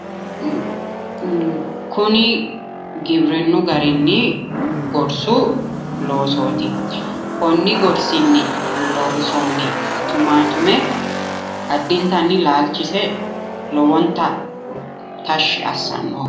Kuni giwirinnu garinni gorsu loosooti. Konni gorsinni loonsoonni tumatume addintanni laalchise lowonta tashshi assanno.